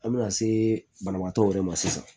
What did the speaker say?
An bɛna se banabaatɔw yɛrɛ ma sisan